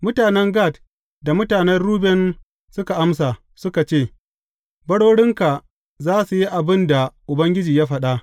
Mutanen Gad da mutanen Ruben suka amsa, suka ce, Barorinka za su yi abin da Ubangiji ya faɗa.